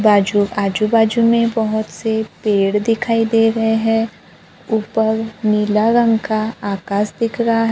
बाजू आजू बाजू में बहोत से पेड़ दिखाई दे रहे हैं ऊपर नीला रंग का आकाश दिख रहा है।